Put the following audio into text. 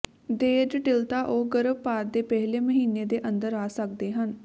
ਦੇਰ ਜਟਿਲਤਾ ਉਹ ਗਰਭਪਾਤ ਦੇ ਪਹਿਲੇ ਮਹੀਨੇ ਦੇ ਅੰਦਰ ਆ ਸਕਦੇ ਹਨ